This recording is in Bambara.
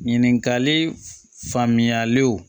Ɲininkali faamuyalenw